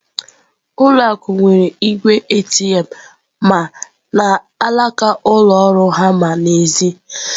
Ụlọ akụ nwere igwe ATM ma n'alaka ụlọ ọrụ ha ma n'èzí.